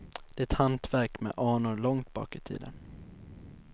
Det är ett hantverk med anor långt bak i tiden.